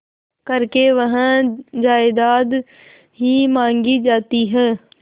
करके वह जायदाद ही मॉँगी जाती है